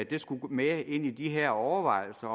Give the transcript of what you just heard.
det skulle med ind i de her overvejelser